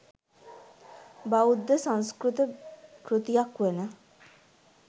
බෞද්ධ සංස්කෘත කෘතියක් වන